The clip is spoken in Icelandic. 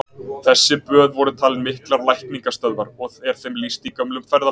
Þessi böð voru talin miklar lækningastöðvar, og er þeim lýst í gömlum ferðabókum.